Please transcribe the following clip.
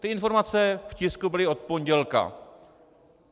Ty informace v tisku byly od pondělka.